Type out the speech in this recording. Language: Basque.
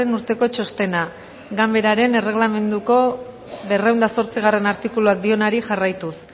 urteko txostena ganbararen erregelamenduko berrehun eta zortzigarrena artikuluak dionari jarraituz